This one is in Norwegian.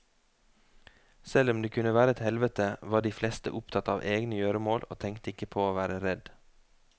Selv om det kunne være et et helvete, var de fleste opptatt av egne gjøremål og tenkte ikke på å være redd.